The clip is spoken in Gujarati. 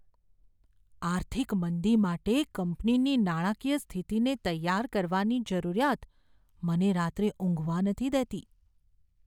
આર્થિક મંદી માટે મારી કંપનીની નાણાકીય સ્થિતિને તૈયાર કરવાની જરૂરિયાત મને રાત્રે ઊંઘવા નથી દેતી.